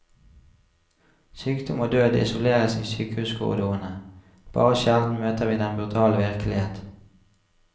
Sykdom og død isoleres i sykehuskorridorene, bare sjelden møter vi den brutale virkelighet.